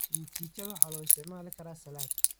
Mchichada waxaa loo isticmaali karaa salad.